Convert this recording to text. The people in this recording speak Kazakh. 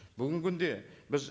бүгінгі күнде біз